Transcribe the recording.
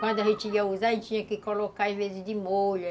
Quando a gente ia usar, a gente tinha que colocar, às vezes, de molho.